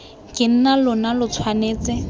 ke nna lona lo tshwanetse